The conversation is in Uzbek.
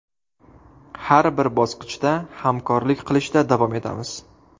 Har bir bosqichda hamkorlik qilishda davom etamiz.